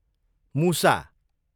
मुसा